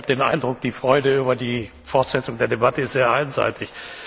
Herr Minister, ich habe den Eindruck, die Freude über die Fortsetzung der Debatte ist sehr einseitig.